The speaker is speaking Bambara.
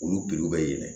Olu bɛ yɛlɛ